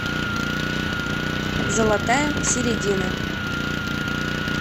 золотая середина